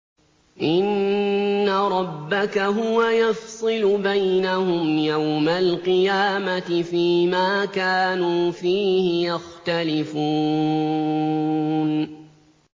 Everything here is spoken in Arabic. إِنَّ رَبَّكَ هُوَ يَفْصِلُ بَيْنَهُمْ يَوْمَ الْقِيَامَةِ فِيمَا كَانُوا فِيهِ يَخْتَلِفُونَ